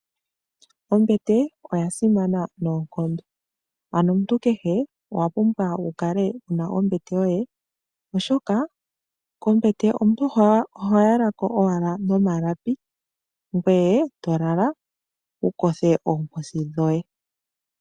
Ombete oya simana noonkondo, ano omuntu kehe owa pumbwa wukale wuna ombete yoye oshoka kombete omuntu oho yalako owala nomalapi gwee etelala wukothe oomposi dhoye .